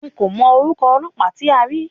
N kò mọ orúkọ ọlọ́pàá tí a rí.